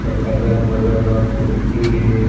और अगल-बगल मा कुर्सी हे।